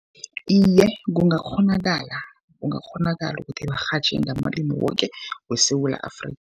Iye, kungakghonakala, kungakghonakala ukuthi barhatjhe ngamalimi woke weSewula Afrikha.